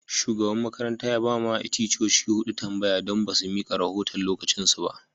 Shugaban makarantan ya ba ma ticcoci hudu tambaya don ba su mika rahotan'lokacin su ba.